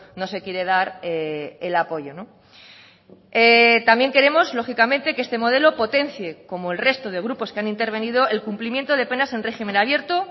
no se quiere dar el apoyo también queremos lógicamente que este modelo potencie como el resto de grupos que han intervenido el cumplimiento de penas en régimen abierto